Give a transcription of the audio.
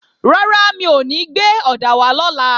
Rárá, mi ò ní gbé ọ̀dà wá lọ́la